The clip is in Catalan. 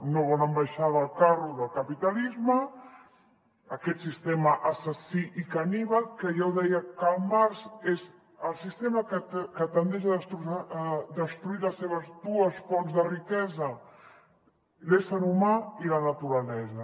no volen baixar del carro del capitalisme aquest sistema assassí i caníbal que ja ho deia karl marx és el sistema que tendeix a destruir les seves dues fonts de riquesa l’ésser humà i la naturalesa